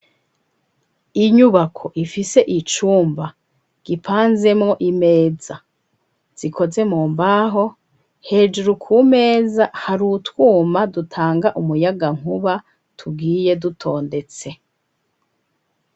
Inyubako ifise icumba gipanzemo imeza zikoze mu mbaho hejuru kumeza hari utwuma dutanga umuyaga nkuba tugwiye dutondetse.